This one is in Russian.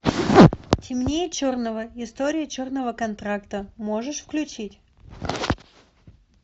темнее черного история черного контрактора можешь включить